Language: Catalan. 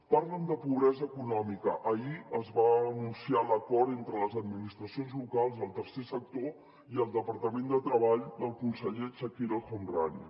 parlen de pobresa econòmica ahir es va anunciar l’acord entre les administracions locals el tercer sector i el departament de treball del conseller chakir el homrani